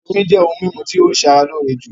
Omí jẹ́ òhún mímú tí o ṣé ara lóore jùlọ.